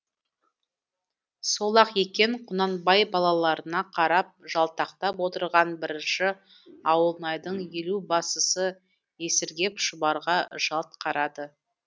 сол ақ екен құнанбай балаларына қарап жалтақтап отырған бірінші ауылнайдың елубасысы есіргеп шұбарға жалт қарады